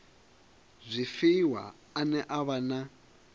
zwifhiwa ane a vha na